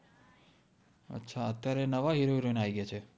અચ્છા અત્ય઼આરે નવા heroheroine આઇ ગ્યા છે